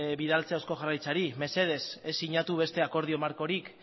bidaltzea eusko jaurlaritzari mesedez ez sinatu beste akordio markorik